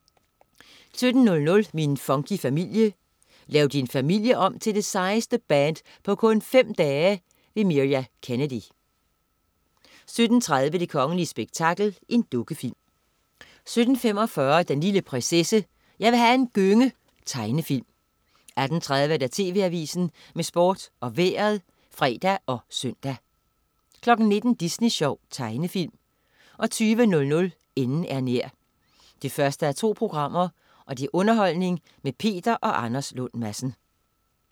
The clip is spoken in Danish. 17.00 Min funky familie. Lav din familie om til det sejeste band på kun 5 dage! Mirja Kennedy 17.30 Det kongelige spektakel. Dukkefilm 17.45 Den lille prinsesse. Jeg vil have en gynge. Tegnefilm 18.30 TV Avisen med Sport og Vejret (fre og søn) 19.00 Disney Sjov. Tegnefilm 20.00 Enden er nær 1:2. Underholdning med Peter og Anders Lund Madsen